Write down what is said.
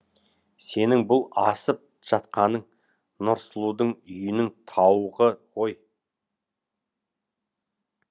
сенің бұл асып жатқаның нұрсұлудың үйінің тауығы ғой